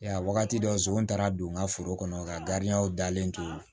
Ya wagati dɔ zon taara don n ka foro kɔnɔ ka dalen to